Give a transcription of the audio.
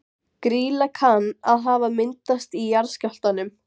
Grýla kann að hafa myndast í jarðskjálftum